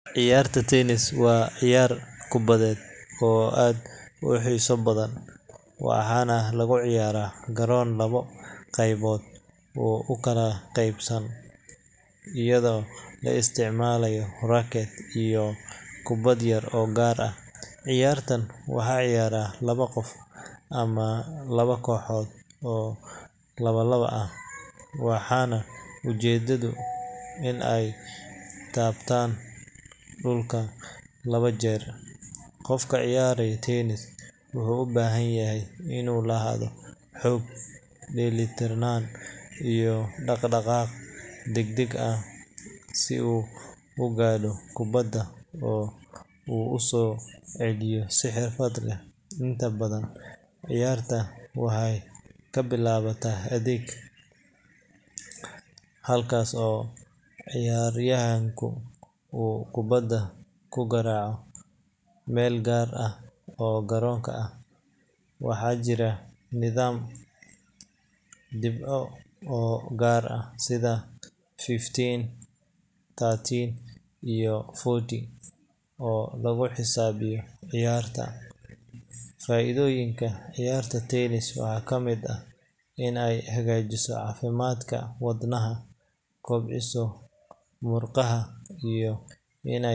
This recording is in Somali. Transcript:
Ciyaarta tennis waa ciyaar kubadeed oo aad u xiiso badan, waxaana lagu ciyaaraa garoon labo qaybood u kala qaybsan, iyadoo la isticmaalayo racket iyo kubbad yar oo gaar ah. Ciyaartan waxaa ciyaara laba qof ama laba kooxood oo laba-laba ah, waxaana ujeedadu tahay in kubbada la garaaco si ay uga gudubto shabaqa dhexe ee garoonka, iyadoo aan loo oggolayn in ay taabtaan dhulka laba jeer. Qofka ciyaaraya tennis wuxuu u baahan yahay inuu lahaado xoog, dheelitirnaan, iyo dhaqdhaqaaq degdeg ah si uu u gaadho kubbada oo uu u soo celiyo si xirfad leh. Inta badan, ciyaarta waxay ka bilaabataa adeeg, halkaas oo ciyaaryahanku uu kubbada ku garaaco meel gaar ah oo garoonka ah. Waxaa jira nidaam dhibco oo gaar ah, sida fifteen, thirty, iyo forty, oo lagu xisaabiyo ciyaarta. Faa’iidooyinka ciyaarta tennis waxaa ka mid ah in ay hagaajiso caafimaadka wadnaha, kobciso murqaha, iyo in a.